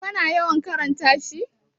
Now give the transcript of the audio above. kana yawan karanta shi?